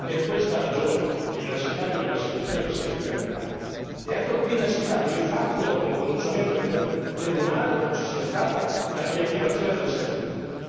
Per questa ragione è inaccettabile la situazione che si è determinata e ancor più inaccettabile è il fatto che dopo un pronunciamento del tribunale non ci sia stata la riattivazione del servizio.